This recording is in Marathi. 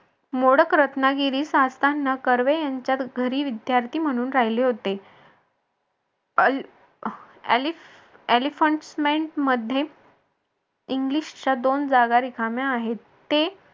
मोडक रत्नागिरीस असताना कर्वे यांच्या घरी विद्यार्थी म्हणून राहिले होते मध्ये इंग्लिशच्या दोन जागा रिकाम्या आहेत. ते